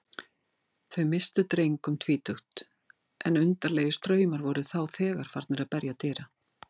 Þau misstu dreng um tvítugt, en undarlegir straumar voru þá þegar farnir að berja dyra.